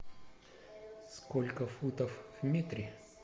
сколько футов в метре